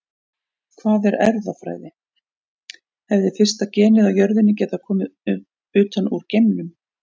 Hvað er erfðafræði Hefði fyrsta genið á jörðinni getað komið utan úr geimnum?